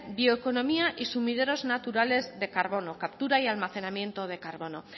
bioeconomía y sumideros naturales de carbono captura y almacenamiento de carbono